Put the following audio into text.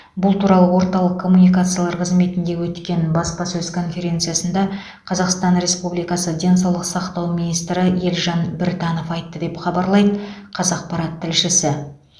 бұл туралы орталық коммуникациялар қызметінде өткен баспасөз конференциясында қазақстан республикасы денсаулық сақтау министрі елжан біртанов айтты деп хабарлайды қазақпарат тілшісі